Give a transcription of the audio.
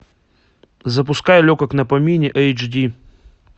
запускай легок на помине эйч ди